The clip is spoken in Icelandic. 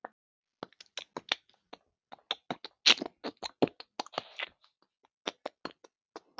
Þessar ferðir lýstu þér vel.